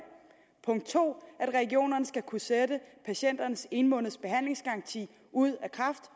og punkt to at regionerne skal kunne sætte patienternes en måneds behandlingsgaranti ud af kraft